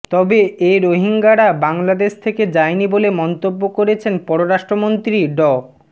তবে এ রোহিঙ্গারা বাংলাদেশ থেকে যায়নি বলে মন্তব্য করেছেন পররাষ্ট্রমন্ত্রী ড